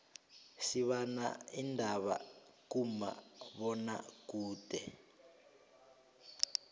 sibana indaba kuma bona kude